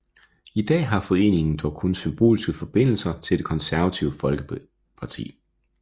I dag har foreningen dog kun symbolske forbindelser til det Det Konservative Folkeparti